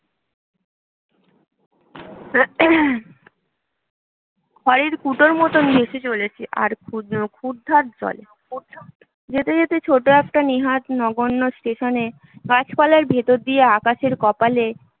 খড়ের কুটোর মতন ভেসে চলেছে আর ক্ষুদ্র ক্ষুরধার জলে যেতে যেতে ছোট্ট একটা নেহাৎ নগণ্য স্টেশনে গাছপালার ভেতর দিয়ে আকাশের কপালে